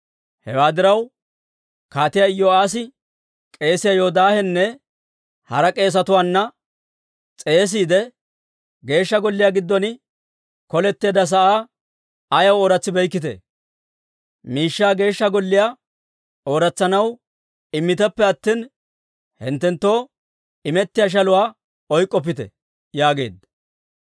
Hewaa diraw, Kaatiyaa Iyo'aassi k'eesiyaa Yoodaahanne hara k'eesetuwaanne s'eesiide, «Geeshsha Golliyaa giddon koletteedda sa'aa ayaw ooratsikkitee? Miishshaa Geeshsha Golliyaa ooratsanaw immiteppe attina, hinttenttoo imettiyaa shaluwaa oyk'k'oppite» yaageedda.